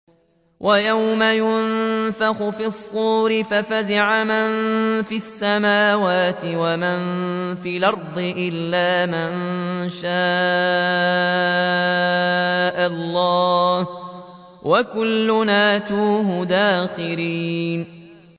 وَيَوْمَ يُنفَخُ فِي الصُّورِ فَفَزِعَ مَن فِي السَّمَاوَاتِ وَمَن فِي الْأَرْضِ إِلَّا مَن شَاءَ اللَّهُ ۚ وَكُلٌّ أَتَوْهُ دَاخِرِينَ